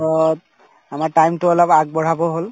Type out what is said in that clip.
পিছত আমাৰ time তো অলপ আগবঢ়াব হল